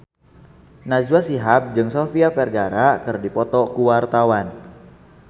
Najwa Shihab jeung Sofia Vergara keur dipoto ku wartawan